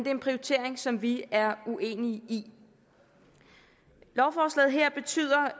er en prioritering som vi er uenige i lovforslaget her betyder